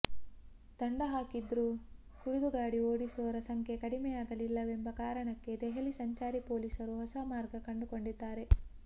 ದಂಡ ಹಾಕಿದ್ರೂ ಕುಡಿದು ಗಾಡಿ ಓಡಿಸೋರ ಸಂಖ್ಯೆ ಕಡಿಮೆಯಾಗಲಿಲ್ಲವೆಂಬ ಕಾರಣಕ್ಕೆ ದೆಹಲಿ ಸಂಚಾರಿ ಪೊಲೀಸರು ಹೊಸ ಮಾರ್ಗ ಕಂಡುಕೊಂಡಿದ್ದಾರೆ